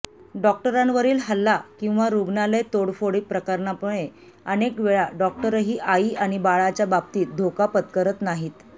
डॉक्टरांवरील हल्ला किंवा रुग्णालय तोडफोड प्रकरणामुळे अनेक वेळा डॉक्टरही आई आणि बाळाच्याबाबतीत धोका पत्करत नाहीत